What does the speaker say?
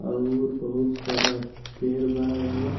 अउर बहुत सारा पेंड़ बा एमे।